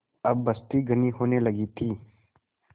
अब बस्ती घनी होने लगी थी